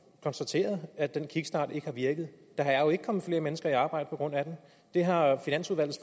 konstateret at den kickstart ikke har virket der er jo ikke kommet flere mennesker i arbejde på grund af den det har finansudvalgets